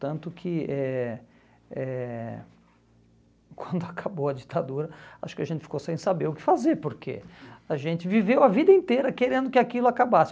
Tanto que, eh eh quando acabou a ditadura, acho que a gente ficou sem saber o que fazer, porque a gente viveu a vida inteira querendo que aquilo acabasse.